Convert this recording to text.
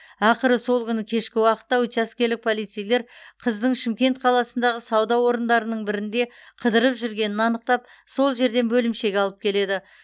ақыры сол күні кешкі уақытта учаскелік полицейлер қыздың шымкент қаласындағы сауда орындарының бірінде қыдырып жүргенін анықтап сол жерден бөлімшеге алып келеді